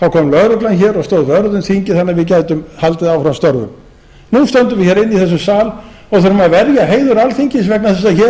þá kom lögreglan og stóð vörð um þingið þannig að við gætum haldið áfram störfum nú stöndum við inni í þessum sal og þurfum að verja heiður alþingis vegna þess að hér